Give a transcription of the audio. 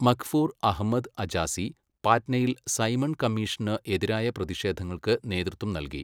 മഖ്ഫൂർ അഹമ്മദ് അജാസി പാറ്റ്നയിൽ സൈമൺ കമ്മീഷന് എതിരായ പ്രതിഷേധങ്ങൾക്ക് നേതൃത്വം നൽകി.